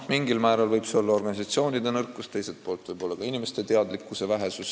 Mingil määral võib põhjuseks olla organisatsioonide nõrkus, teiselt poolt ka inimeste teadlikkuse vähesus.